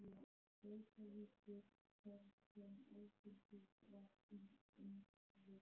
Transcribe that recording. Reykjavíkur þar sem áfengi var í öndvegi.